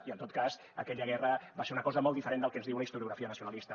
i en tot cas aquella guerra va ser una cosa molt diferent del que ens diu la historiografia nacionalista